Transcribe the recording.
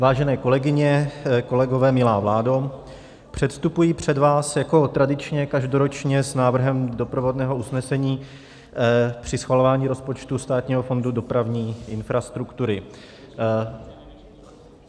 Vážené kolegyně, kolegové, milá vládo, předstupuji před vás jako tradičně každoročně s návrhem doprovodného usnesení při schvalování rozpočtu Státního fondu dopravní infrastruktury.